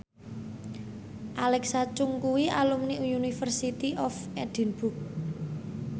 Alexa Chung kuwi alumni University of Edinburgh